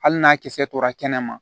Hali n'a kisɛ tora kɛnɛ ma